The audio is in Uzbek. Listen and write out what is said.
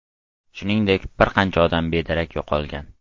Shuningdek, bir qancha odam bedarak yo‘qolgan.